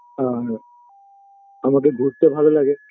আর আমাকে ঘুরতে ভালো লাগে